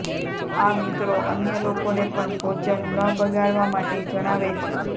આ મિત્રો અન્ય લોકોને પણ ભોજન ન બગાડવા માટે જણાવે છે